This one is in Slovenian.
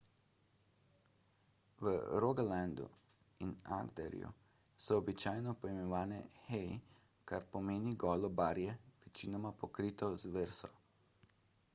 v rogalandu in agderju so običajno poimenovane hei kar pomeni golo barje večinoma pokrito z vreso